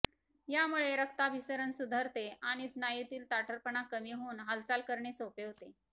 यामुळे रक्ताभिसरण सुधारते आणि स्नायूतील ताठरपणा कमी होऊन हालचाल करणे सोपे होते